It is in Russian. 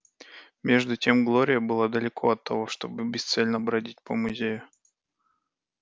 между тем глория была далеко от того чтобы бесцельно бродить по музею